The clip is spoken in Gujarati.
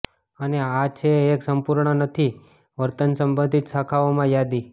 અને આ છે એક સંપૂર્ણ નથી વર્તન સંબંધિત શાખાઓમાં યાદી